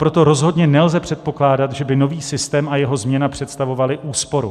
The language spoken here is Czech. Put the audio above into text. Proto rozhodně nelze předpokládat, že by nový systém a jeho změna představovaly úsporu.